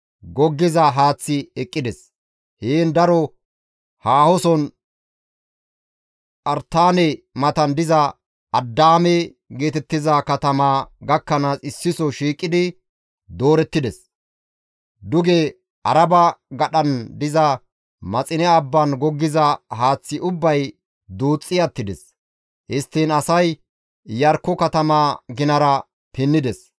goggiza haaththay eqqides; heen daro haahoson Phartaane matan diza Addaame geetettiza katamaa gakkanaas issiso shiiqidi doorettides; duge Arabe gadhan diza Maxine abban goggiza haaththi ubbay duuxxi attides; histtiin asay Iyarkko katamaa ginara pinnides.